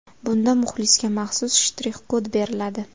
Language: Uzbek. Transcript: Bunda muxlisga maxsus shtrix kod beriladi.